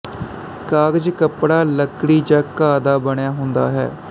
ਕਾਗਜ਼ ਕੱਪੜਾ ਲੱਕੜੀ ਜਾਂ ਘਾਹ ਦਾ ਬਣਿਆਂ ਹੁੰਦਾ ਹੈ